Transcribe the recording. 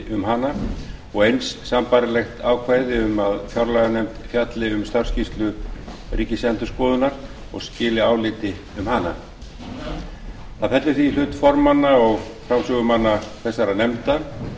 um hana og eins sambærilegt ákvæði um að fjárlaganefnd fjalli um starfsskýrslu ríkisendurskoðunar og skili áliti um hana það fellur því í hlut formanna og framsögumanna þessara nefnda